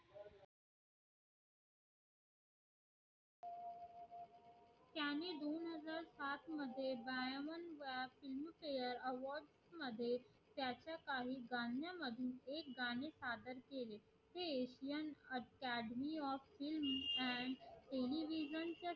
films fare award मध्ये त्याच्या काही गण्या मध्ये एक गाणी सादर केले ते academy of filmand television च्या